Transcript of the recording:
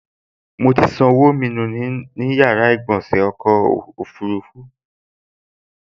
Mo ti ṣan ọwọ́ mi nù ní yàrá ìgbọ̀sẹ̀ nínú ọkọ̀ ọfurufú